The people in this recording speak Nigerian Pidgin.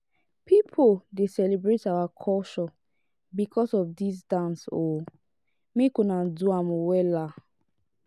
pipo dey celebrate our culture because of dis dance o make una do am wella.